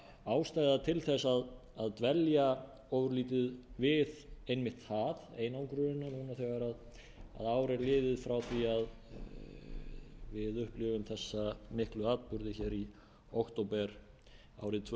ástæða til að dvelja ofurlítið við einmitt það einangrunina núna þegar ár er liðið frá því að við upplifðum þessa miklu atburði í október árið tvö